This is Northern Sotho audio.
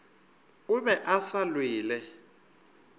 o be a sa lwele